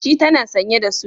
Shi tana sanye da sut.